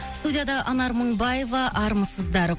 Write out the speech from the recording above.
студияда анар мыңбаева армысыздар